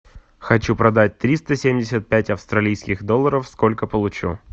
хочу продать триста семьдесят пять австралийских долларов сколько получу